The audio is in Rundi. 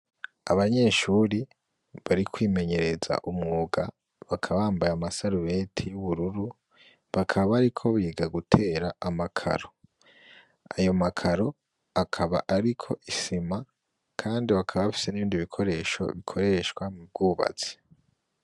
Abanyeshure bari kwimenyereza umwuga, bakaba bambaye amasarubeti y'ubururu bakaba bariko biga gutera amakaro, ayo makaro akaba ariko isima, kandi bakaba bafise n'ibindi bikoresho bikoreshwa mu bwubatsi.